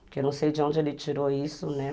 Porque eu não sei de onde ele tirou isso, né?